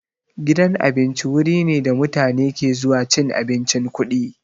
Gidan abinci wuri ne da mutane ke zuwa cin abincin kuɗi.